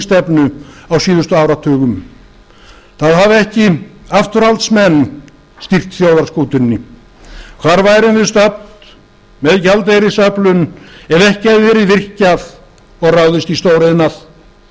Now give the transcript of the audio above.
og útflutningsstefnu á síðustu áratugum það hafa ekki afturhaldsmenn stýrt þjóðarskútunni hvar værum við stödd með gjaldeyrisöflun ef ekki hefði verið virkjað og ráðist í